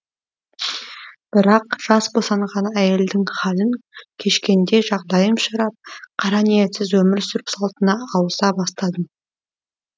бірақ жас босанған әйелдің хәлін кешкендей жағдайым ширап қара ниетсіз өмір сүру салтына ауыса бастадым